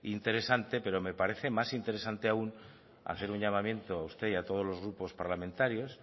interesante pero me parece más interesante aún hacer un llamamiento a usted y a todos los grupos parlamentarios